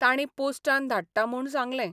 तांणी पोस्टान धाडटा म्हूण सांगलें.